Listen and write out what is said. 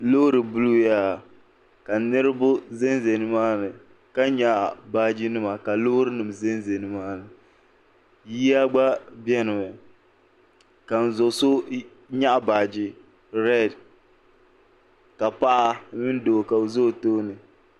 Loori buluu yaa ka niriba zan zaya ni maa ni ka yɛɣi baaji nima ka loori nima zan zani ni maani yiya gba biɛni mi ka n zoso yɛɣi baaji rɛd ka paɣa mini doo ka o za o tooni.